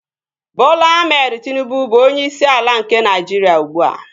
Bọla Ahmed Tịnubụ bụ onyeisi ala nke Naịjiria ugbua